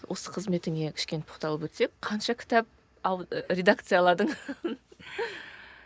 осы қызметіңе кішкене тоқталып өтсек қанша кітап редакцияладың